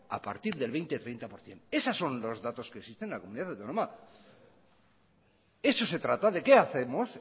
a partir del veinte o treinta por ciento esas son los datos que se cifra en la comunidad autónoma de eso se trata de qué hacemos